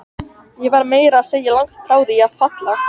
Ég var meira að segja langt frá því að falla.